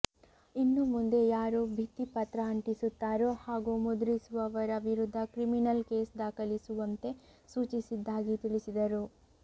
ಇನ್ನು ಮುಂದೆ ಯಾರು ಭಿತ್ತಿಪತ್ರ ಅಂಟಿಸುತ್ತಾರೋ ಹಾಗೂ ಮುದ್ರಿಸುವವರ ವಿರುದ್ಧ ಕ್ರಿಮಿನಲ್ ಕೇಸು ದಾಖಲಿಸುವಂತೆ ಸೂಚಿಸಿದ್ದಾಗಿ ತಿಳಿಸಿದರು